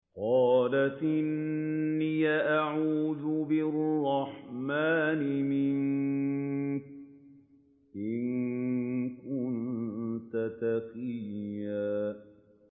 قَالَتْ إِنِّي أَعُوذُ بِالرَّحْمَٰنِ مِنكَ إِن كُنتَ تَقِيًّا